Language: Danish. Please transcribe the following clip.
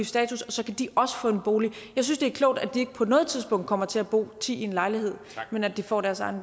status og så kan de også få en bolig jeg synes det er klogt at de ikke på noget tidspunkt kommer til at bo ti i en lejlighed men at de får deres egen